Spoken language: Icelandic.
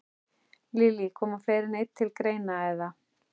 Lillý: Koma fleiri en einn til greina, eða?